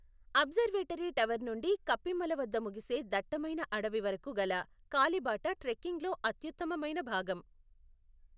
Observatory tower నుండి కప్పిమల వద్ద ముగిసే దట్టమైన అడవి వరకు గల కాలిబాట ట్రెక్కింగ్లో అత్యుత్తమైన భాగం.